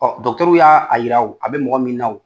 y'a yira a bɛ mɔgɔ min na